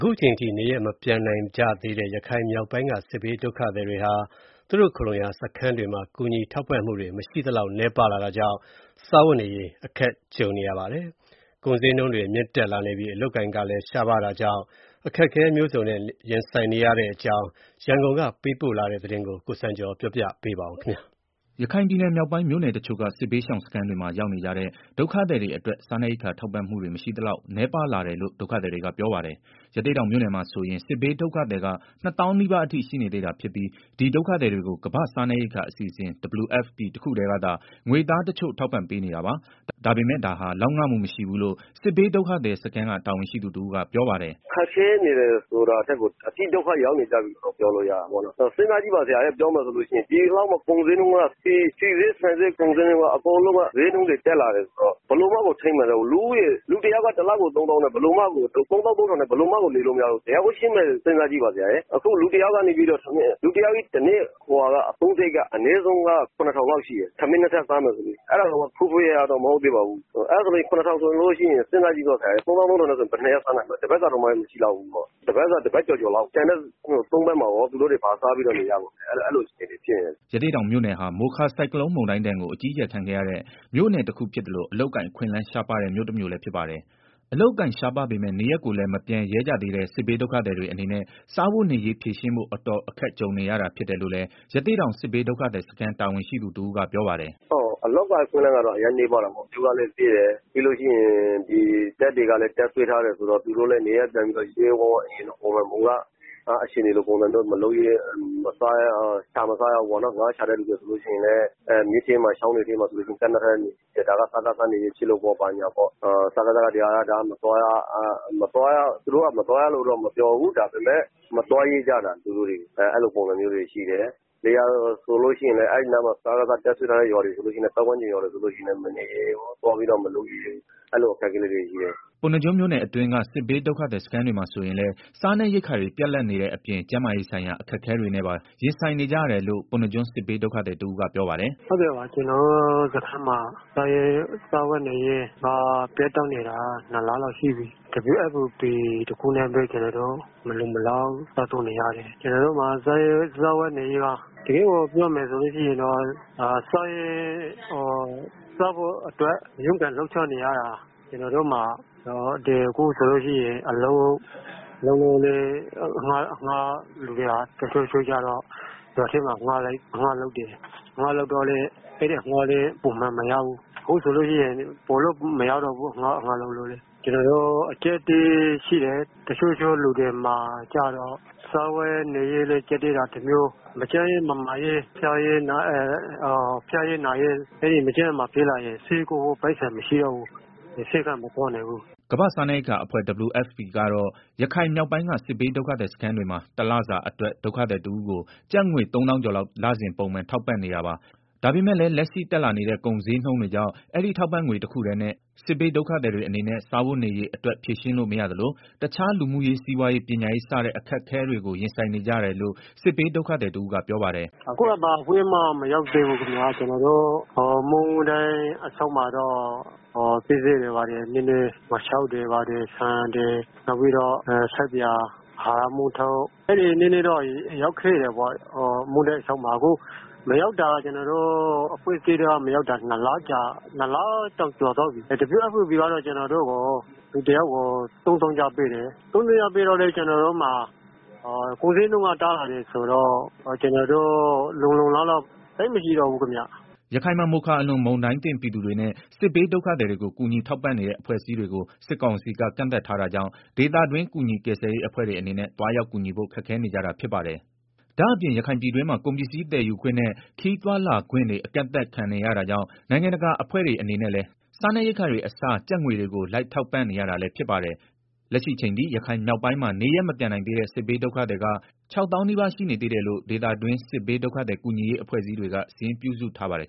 ခုချိန်အထိ နေရပ်မပြန်နိင်ကြသေးတဲ့ ရခိုင်မြောက်ပိုင်းက စစ်ဘေးဒုက္ခသည်တွေဟာ သူတို့ခိုလှုံရာ စခန်းတွေမှာ ကူညီထောက်ပံ့မှုတွေ မရှိသလောက်နည်းပါးလာတာကြောင့် စားဝတ်နေရေး အခက်ကြုံနေ ကြရပါတယ်။ ကုန်ဈေးနှုန်းတွေမြင့်တက် လာနေပြီး အလုပ်အကိုင်ကလည်း ရှားပါးတာကြောင့် အခက်ခဲမျိုးစုံနဲ့ ရင်ဆိုင်နေကြရတဲ့ အကြောင်း ရန်ကုန်ကပေးပို့တဲ့ သတင်းကို ကိုစံကျော် တင်ပြပေးပါမယ်။ ရခိုင်ပြည်နယ် မြောက်ပိုင်းမြို့နယ်တချို့က စစ်ဘေးရှောင်စခန်းတွေမှာ ရောက်နေကြတဲ့ ဒုက္ခသည်တွေအတွက် စားနပ်ရိက္ခာထောက်ပံ့မှုတွေ မရှိသလောက်နည်း ပါးလာတယ်လို့ ဒုက္ခသည်တွေကပြောပါတယ်။ ရသေ့တောင်မြို့နယ်မှာဆိုရင် စစ်ဘေးဒုက္ခသည်က ၂ သောင်းနီးပါး အထိ ရှိနေသေးတာ ဖြစ်ပြီး ဒီ ဒုက္ခသည် တွေကို ကမ္ဘာ့စားနပ်ရိက္ခာ အစီအစဉ် WFP တခုတည်းကသာ ငွေသားတချို့ ထောက်ပံ့ ပေးနေတာပါ။ ဒါပေမယ့် ဒါဟာ လောက်ငမှု မရှိဘူးလို့ စစ်ဘေးဒုက္ခသည်စခန်းက တာဝန်ရှိသူတဦးက ပြောပါတယ်။ “ခက်ခဲနေတယ်ဆိုတာထက် အတိဒုက္ခရောက်နေကြပြီ စဉ်းစားကြည့်ပါဗျာ။ ဒီလောက် ဆီဈေး ဆန်ဈေး ကုန်ဈေးနှုန်းတွေ တက်နေတာ ဆိုတော့ ဘယ်လိုမှကို ထိန်းမနိုင်တော့ဘူး။ လူတ ယောက်က တလကို ၃၃ ဝဝဝ နဲ့ ဘယ်လိုမှကို နေလို့မရတော့ဘူး။ လူတယောက်ရဲ့ တနေ့အသုံးစရိတ်က ရဝဝဝ လောက်ရှိတယ်။ ထမင်း ၂ ထပ် စားမယ်ဆိုရင်၊ အဲတာတောင်မှ ဖွယ်ဖွယ်ရာ ရာမဟုတ်သေးဘူး။ ဆိုတော့ ၃၃၀၀၀ နဲ့ ဘယ်နှစ်ရက် စားရမလဲ၊ တပတ်လောက်ပဲစား ရမှာပေါ့။ ဆိုတော့။ ကျန်တဲ့ သုံးပတ်မှာ သူတို့ ဘာစားပြီး နေရမလဲ။ အဲလိုတွေ ဖြစ်နေကြတယ်။” ရသေ့တောင်မြို့နယ်ဟာ မိုခါ ဆိုင်ကလုန်းမုန်တိုင်း ဒဏ်ကို အကြီးအကျယ်ခံခဲ့ရတဲ့ မြို့နယ်တခုဖြစ်သလို အလုပ်အကိုင် အခွင့်အလမ်း ရှားပါးတဲ့ မြို့တမြို့လည်းဖြစ် ပါတယ်။ အလုပ်အကိုင်ရှားပါးပေမယ့် နေရပ်ကိုလည်း မပြန်ရဲကြသေးတဲ့ စစ်ဘေးဒုက္ခသည်တွေအနေနဲ့ စားဝတ်နေရေးဖြေရှင်းဖို့ အတော်ခက်ကြုံနေ ရတာဖြစ်တယ်လို့လည်း ရသေ့တောင် စစ်ဘေးဒုက္ခသည် စခန်းတာဝန်ရှိသူက ပြောပါတယ်။ “အလုပ်အကိုင်အခွင့်အလမ်းကတော့ အရမ်းနည်းပါးတာပေါ့။ မြို့ကလည်း သေးတယ်၊ ပြီး တော့တပ်တွေ ကလည်း တပ်စွဲထားတယ်ဆိုတော့ သူတို့လည်း နေရပ်ပြန်ပြီးတော့ အရင်လို ပုံစံမျိုး မလုပ်ရဲကြဘူး။ ငါးရှာတဲ့ သူတွေဆိုရင်လည်း မြစ်ထဲမှာ ဟိုနေရာ မသွားရ ဒီနေရာ မသွားရဒါ။ စကစ နယ်မြေဖြစ်လို့ပေါ့။ သူတို့က မသွားရဘူးလို့ မပြောဘူး။ ဒါပေမယ့် ဒေသခံ တွေက မသွားရဲကြတာ။ လယ်ယာဆိုလို့ ရှိရင်လည်း စကစ တပ်စွဲထားတဲ့ ပတ်ဝန်း ကျင်တွေကို မသွားရဲကြဘူး အဲလို အခြေအနေရှိတယ်။ ” ပုဏ္ဏားကျွန်းမြို့နယ်အတွင်းက စစ်ဘေးဒုက္ခသည်စခန်းတွေမှာ ဆိုရင်လည်း စားနပ်ရိက္ခာတွေ ပြတ်လပ်နေတဲ့အပြင် ကျန်းမာရေးဆိုင်ရာ အခက်အခဲတွေနဲ့ပါ ရင်ဆိုင်နေကြရတယ်လို့ ပုဏ္ဏားကျွန်း စစ်ဘေးဒုက္ခသည်တဦးကပြောပါတယ်။ “ ကျနော်တို့ ဒုက္ခသည်စခန်းမှာ စားဝတ်နေရေး ပြတ်တောက်နေတာ ၂လလောက်ရှိပြီ။ WFP တခုနဲ့ပဲ ကျနော်တို့ မလုံမလောက် စားသုံးနေရတယ်။ ကျနော်တို့မှာ စားဖို့ အတွက် ရုန်းကန် လှုပ်ရှားနေရတာ။ အခုဆိုရင် အလုပ်လုပ်ဖို့လည်း အဆင်မပြေ။ တချို့တွေ ရွာထဲမှာအငှားလိုက်ပြီး တော့လုပ်တယ်။ အဲဒီအလုပ်လည်း ပုံမှန်မရဘူး။ အခုဆိုရင် ပိုပြီးတော့တောင် မရ တော့ဘူး အလုပ်ကလေ။ ကျနော်တို့ အကြပ်အတည်းတွေ ရှိတယ်။ တချို့တချို့လူတွေမှာ စားဝတ်နေရေး ကျပ်တည်းတာ တမျိုး၊ မကျန်းရေး မမာရေး ဖြစ်လာရင် ဆေးကုဖို့ ပိုက်ဆံမရှိ တာ တမျိုး။ ဆေးခန်းကိုလည်း မသွားနိုင်ဘူး။” ကမ္ဘာ့စားနပ်ရိက္ခာအဖွဲ့ WFP ကတော့ ရခိုင်မြောက်ပိုင်းက စစ်ဘေးဒုက္ခသည်စခန်းတွေမှာ တလစာ အတွက် ဒုက္ခသည်တဦးကို ကျပ်ငွေ ၃သောင်းကျော်လောက် လစဉ်ပုံမှန် ထောက်ပံ့နေတာပါ။ ဒါပေမယ့်လည်း လက်ရှိ တက်လာနေတဲ့ ကုန်ဈေးနှုန်းတွေကြောင့် အဲဒီထောက်ပံ့ငွေ တခုတည်းနဲ့ စစ်ဘေး ဒုက္ခသည် စားဝတ်နေရေးအတွက် ဖြေရှင်းလို့ မရသလို၊ တခြား လူမှုရေး စီးပွားရေး ပညာရေး စတဲ့ အခက်အခဲတွေကို ရင်ဆိုင်နေကြရတယ်လို့ စစ်ဘေးဒုက္ခသည်တဦးက ပြောပါတယ်။ “ အခုက ဘာအဖွဲ့အစည်းမှ မရောက်သေးဘူးခင်မျာ၊ မုန်တိုင်း အလွန်မှာတော့ ပစ္စည်းတွေ ဘာတွေ၊ ငါးခြောက်တွေ ဆန်တွေ၊ ဆပ်ပြာ၊ အဟာရ မုန့်ထုပ်၊ အဲလိုတွေ နည်းနည်းတော့ ရောက်ခဲ့တယ်၊ အခုအဲလို အဖွဲ့အစည်းတွေ မရောက်တာ ၂လ ကျော်သွားပြီ။ WFP ကတော့ ကျနော်တို့ကို လူတယောက်ကို ၃သောင်းကျပ်ပေးတယ်၊ ကုန်ဈေးနှုန်းက တက်လာတာဆိုတော့။ လုံလောက်မှုမ ရှိပါဘူးခင်မျာ။ ” ရခိုင်မှာ မိုခါအလွန် မုန်တိုင်းသင့်ပြည်သူတွေနဲ့ စစ်ဘေးဒုက္ခသည်တွေကို ကူညီထောက်ပံ့နေတဲ့ အဖွဲ့အစည်းတွေကို စစ်ကောင်စီက ကန့်သတ်ထားတာကြောင့် ဒေသတွင်း ကူညီကယ်ဆယ်ရေး အဖွဲ့တွေ အနေနဲ့ သွားရောက်ကူညီဖို့ ခက်ခဲနေကြတာ ဖြစ်ပါတယ်။ ဒါ့အပြင် ရခိုင်ပြည်တွင်းမှာ ကုန်ပစ္စည်း သယ်ယူခွင့်နဲ့ ခရီးသွားလာခွင့်တွေ အကန့်သတ်ခံ နေရတာကြောင့် နိုင်ငံတကာအဖွဲ့တွေ အနေနဲ့လည်း စားနပ်ရိက္ခာတွေအစား ကျပ်ငွေတွေကို တိုက်ရိုက်ထောက်ပံ့နေရတာလည်း ဖြစ်ပါတယ်။ လက်ရှိအချိန်ထိ ရခိုင်မြောက်ပိုင်းမှာ နေရပ်မပြန်နိုင်သေးတဲ့ စစ်ဘေးဒုက္ခသည်က ၆သောင်းနီးပါး ရှိနေသေးတယ်လို့ ဒေသတွင်း စစ်ဘေးဒုက္ခသည် ကူညီရေးအဖွဲ့အစည်းတွေက စာရင်းပြုစုထားပါတယ်